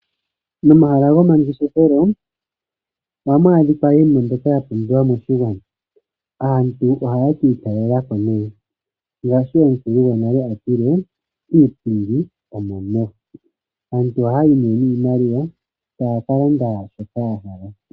Momahala goma ngeshefelo ohamu adhika iinima mbyoka ya pumbiwa moshigwana. Aantu ohaya ka italelako ne, ngashi omukulu gonale atile'iipindi omo meho. Aantu oha yayi ne niimaliwa taya ka landa shoka ya hala.